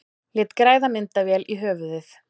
Lét græða myndavél í höfuðið